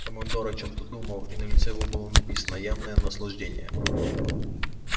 командор о чем то думал и на лице его было написано явное наслаждение